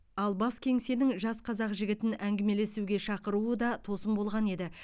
ал бас кеңсенің жас қазақ жігітін әңгімелесуге шақыруы да тосын болған еді